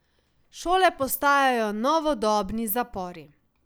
Šole postajajo novodobni zapori.